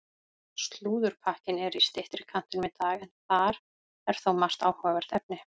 Slúðurpakkinn er í styttri kantinum í dag en þar er þó margt áhugavert efni.